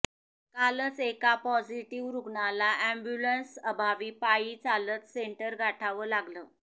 कालच एका पॉझिटिव रुग्णाला एम्बुलन्स अभावी पायी चालत सेंटर गाठावं लागलं